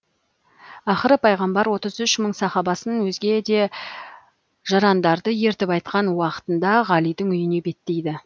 ақыры пайғамбар отыз үш мың сахабасын өзге де жарандарды ертіп айтқан уақытында ғалидың үйіне беттейді